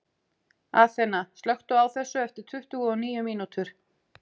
Athena, slökktu á þessu eftir tuttugu og níu mínútur.